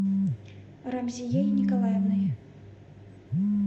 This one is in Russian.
рамзией николаевной